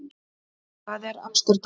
Það er í Amsterdam.